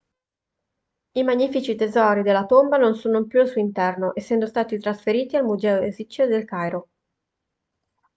i magnifici tesori della tomba non sono più al suo interno essendo stati trasferiti al museo egizio del cairo